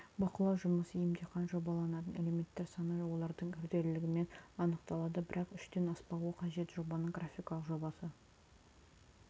бақылау жұмысы емтихан жобаланатын элементтер саны олардың күрделілігімен анықталады бірақ үштен аспауы қажет жобаның графикалық жобасы